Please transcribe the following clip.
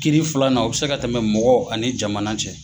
Kiiri filanan u bɛ se ka tɛmɛ mɔgɔ ani jamana cɛ.